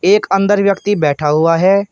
एक अंदर व्यक्ति बैठा हुआ है।